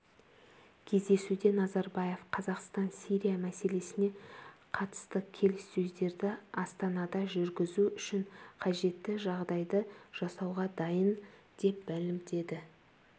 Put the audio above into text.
кездесуде назарбаев қазақстан сирия мәселесіне қатысты келіссөздерді астанада жүргізу үшін қажетті жағдайды жасауға дайын деп мәлімдеді